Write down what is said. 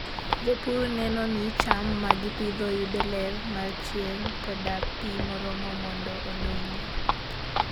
Jopur neno ni cham ma gipidho yudo ler mar chieng' koda pi moromo mondo odongi.